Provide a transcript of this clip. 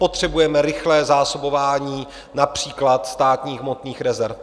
Potřebujeme rychlé zásobování například Státních hmotných rezerv.